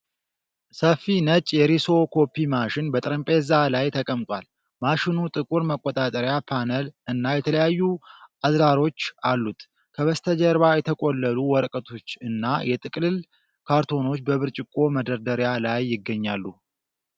ሰፊ ነጭ የሪሶ ኮፒ ማሽን በጠረጴዛ ላይ ተቀምጧል። ማሽኑ ጥቁር መቆጣጠሪያ ፓነል እና የተለያዩ አዝራሮች አሉት። ከበስተጀርባ የተቆለሉ ወረቀቶች እና የጥቅልል ካርቶኖች በብርጭቆ መደርደሪያ ላይ ይገኛሉ።